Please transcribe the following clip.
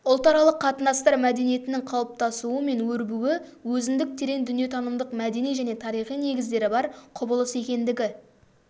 ұлтаралық қатынастар мәдениетінің қалыптасуы мен өрбуі өзіндік терең дүниетанымдық мәдени және тарихи негіздері бар құбылыс екендігі